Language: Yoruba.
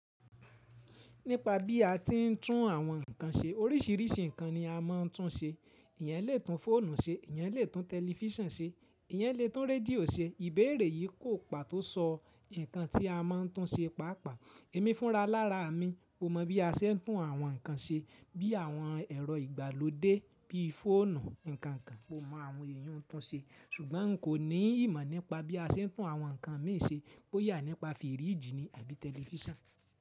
Nípa bí a ti ń tún àwọn ǹkan ṣe, oríṣìíríṣìí ǹkan ni a máa ń tún ṣe. Eeyẹn lè tún fóònù ṣe, eeyẹn lè tún tẹlifísàn ṣe, eeyẹn lè tún rédíò ṣe. Ìbéèrè yìí kò pàtó sọ ǹkan tí a máa ń tún ṣe pàápàá. Ẹ̀mí fúnra lára mi, mo mọ̀ bí a ṣe ń tún àwọn ǹkan ṣe bí i àwọn ẹ̀rọ ìgbàlódé bí i fóònù, ǹkan kan mo mọ̀ àwọn èèyi un ń tún ṣe, ṣùgbọ́n n kò ní ìmọ̀ nípa bí a ṣe ń tún àwọn ǹkan mìí ṣe, bóyá nípa fíríjì ni àbí tẹlifísàn.